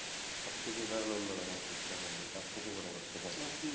সবকিছুই তো এখন অন্যরকম system হয়ে গেছে, আপনি কি মনে করতেছেন?